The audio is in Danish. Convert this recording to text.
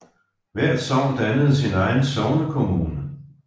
Hvert sogn dannede sin egen sognekommune